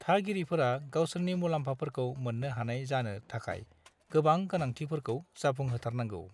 थागिरिफोरा गावसोरनि मुलाम्फाफोरखौ मोन्नो हानाय जानो थाखाय गोबां गोनांथिफोरखौ जाफुंहोथारनांगोन।